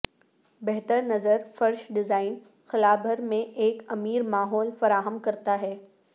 بہتر نظر فرش ڈیزائن خلا بھر میں ایک امیر ماحول فراہم کرتا ہے